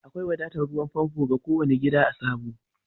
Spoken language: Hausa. Akwai wadatan ruwan pompo ga ko wani gida a'Sabo.